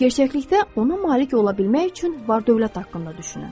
Gerçəklikdə ona malik ola bilmək üçün var-dövlət haqqında düşünün.